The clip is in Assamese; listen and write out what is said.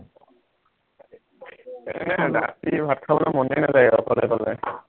এৰ ৰাতি ভাত খাবলে মনেই নাযায় অকলে অকলে